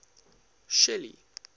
shelly